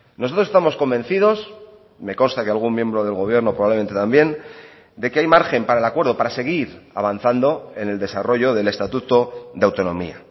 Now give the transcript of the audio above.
nosotros estamos convencidos me consta que algún miembro del gobierno probablemente también de que hay margen para el acuerdo para seguir avanzando en el desarrollo del estatuto de autonomía